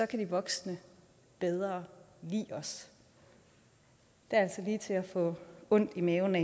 kan de voksne bedre lide os det er altså lige til at få ondt i maven af